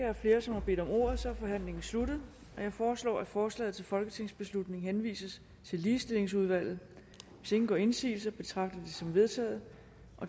er flere som har bedt om ordet er forhandlingen sluttet jeg foreslår at forslaget til folketingsbeslutning henvises til ligestillingsudvalget hvis ingen gør indsigelse betragter jeg det som vedtaget